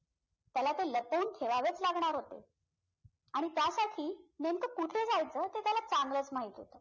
त्याला ते लपवून ठेवावेच लागणार होते आणि त्यासाठी नेमकं कुठे जायचं ते त्याला चांगलच माहित होतं